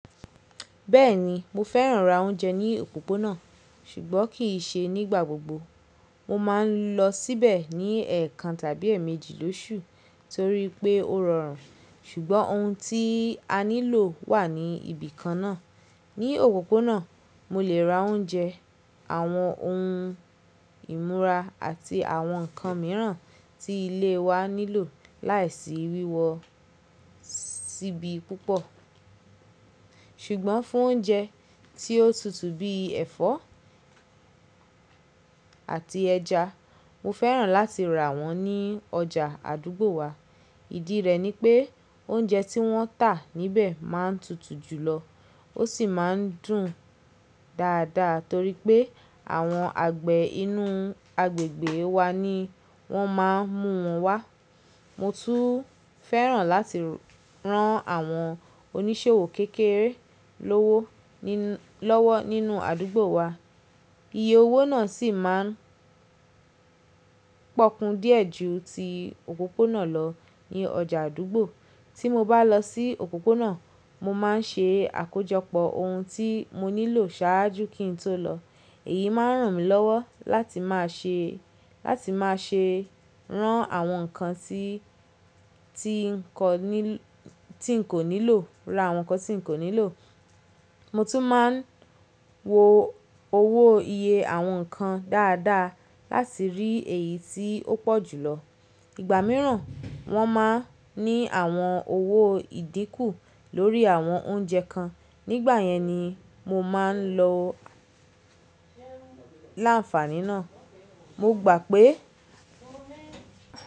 Bẹ́ẹ̀ni, mo fẹ́ràn ra oúnjẹ ní òpópónà, ṣùgbọ́n kì í ṣe nígbà gbogbo. Mo máa ń lọ síbẹ̀ ní ẹ̀ẹ̀kan tàbí èèmejì lóṣù torí pé ó rọrùn, ṣùgbọ́n ohun tí a nílò wà ní ibìkan náà. Ní òpópónà, mo lè ra oúnjẹ, àwọn ohun ìmúra àti àwọn nǹkan mìíràn tí ilé wa nílò láìsí wíwọ síbi púpọ̀. Ṣùgbọ́n fún oúnjẹ tí ó tutù bíi ẹ̀fọ́ àti ẹja, mo fẹ́ràn láti rà wọ́n ní ọjà àdúgbò wa. Ìdí rẹ̀ ni pé oúnjẹ tí wọ́n tà níbẹ̀ máa ń tutù jùlọ. Ó sì máa ń dùn dáadáa torí pé àwọn àgbẹ̀ inú agbègbè wa ni wọ́n máa ń mú wọn wá. Mo tún fẹ́ràn láti rán àwọn oníṣòwò kékeré lówó lọ́wọ́ nínú àdúgbò wa. Iye owó náà sì máa ń pòkun díẹ̀ ju ti òpópónà lọ ní ọjà àdúgbò. Tí mo bá lọ sí òpópónà, mo máa ń ṣe àkójọpọ̀ ohun tí mo nílò ṣáájú kí n tó lọ. Èyí máa ràn mí lọ́wọ́ láti máa ṣe, láti máa ṣe rán àwọn nǹkan tí, tí n kọ nílò, tí n kò nílò, ra àwọn nǹkan tí n kò nílò. Mo tún máa ń wo owó iye àwọn nǹkan dáadáa láti rí èyí tí ó pọ̀ jùlọ. Igba mìíràn, wọ́n máa ń ní àwọn owó ìdínkù lórí àwọn oúnjẹ kan. Nígbà yẹn ni mo máa ń lo láǹfààní náà. Mo gbà pé.